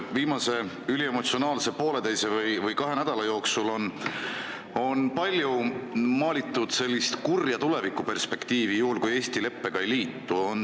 Viimase üliemotsionaalse poolteise või kahe nädala jooksul on palju maalitud sellist kurja tulevikuperspektiivi, mis juhtub, kui Eesti leppega ei liitu.